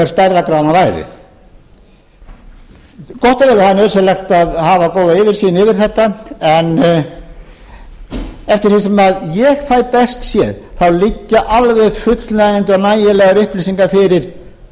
stærðargráðan væri gott er eða nauðsynlegt að hafa góða yfirsýn yfir þetta en eftir því sem ég fæ best séð liggja alveg fullnægjandi og nægilegar upplýsingar fyrir